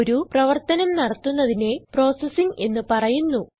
ഒരു പ്രവർത്തനം നടത്തുന്നതിനെ പ്രോസസിങ് എന്ന് പറയുന്നു